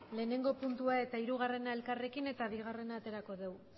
batgarrena puntua eta hirugarrena elkarrekin eta bigarrena aterako dugu